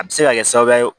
A bɛ se ka kɛ sababu ye